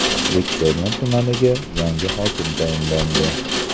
Bektemir tumaniga yangi hokim tayinlandi.